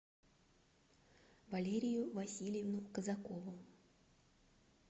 валерию васильевну казакову